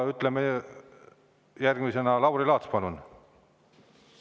Järgmisena Lauri Laats, palun!